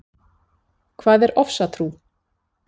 Hvað er ofsatrú?